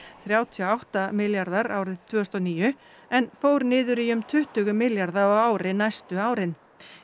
þrjátíu og átta milljarðar árið tvö þúsund og níu en fór niður í um tuttugu milljarða á ári næstu árin